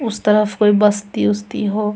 उस तरफ कोई बस्ती उसती हो।